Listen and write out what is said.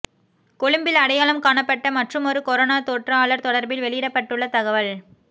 கொழும்பில் அடையாளம் காணப்பட்ட மற்றுமொரு கொரோனா தொற்றாளர் தொடர்பில் வெளியிடப்பட்டுள்ள தகவல்